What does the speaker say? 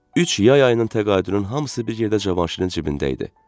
Üç yay ayının təqaüdünün hamısı bir yerdə Cavanşirin cibində idi.